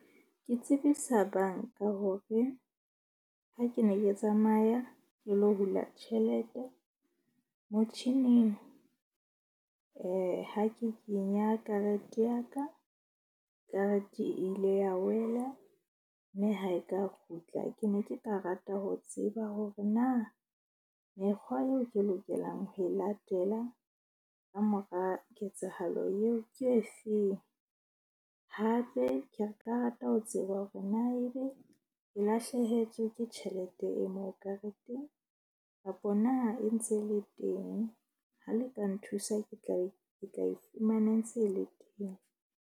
Ke tsebisa bank-a hore ha ke ne ke tsamaya ke lo hula tjhelete motjhining. Ha ke kenya karete ya ka, karete e ile ya wela. Mme ha e ka kgutla. Ke ne ke ka rata ho tseba hore na mekgwa eo ke lokelang ho e latela. Kamora ketsahalo eo ke e feng hape, ke re ka rata ho tseba hore na ebe le lahlehetswe ke tjhelete e moo kareteng kapa na e ntse e le teng? Ha le ka nthusa, ke tla be ke tla e fumana e ntse e le teng.